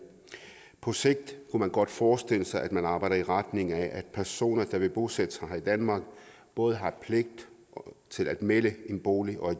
på sigt kunne man godt forestille sig at man arbejder i retning af at personer der vil bosætte sig i danmark både har pligt til at melde en bolig og